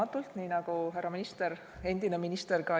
Tänan!